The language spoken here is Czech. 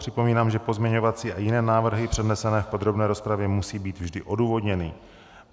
Připomínám, že pozměňovací a jiné návrhy přednesené v podrobné rozpravě musí být vždy odůvodněny.